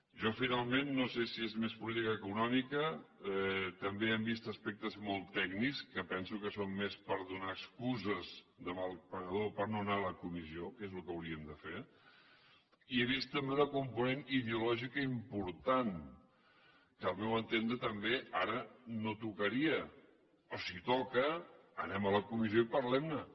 jo finalment no sé si és més política que econòmica també hem vist aspectes molt tècnics que penso que són més per donar excuses de mal pagador per no anar a la comissió que és el que hauríem de fer i he vist també un component ideològic important que al meu entendre també ara no tocaria o si toca anem a la comissió i parlem ne